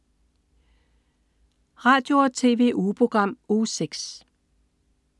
Radio- og TV-ugeprogram Uge 6